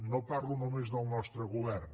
no parlo només del nostre govern